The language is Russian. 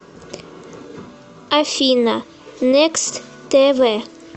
афина некст тэ вэ